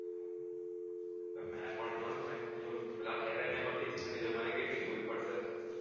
આલા avengers પછી મારે કેટલી જોવી પડસે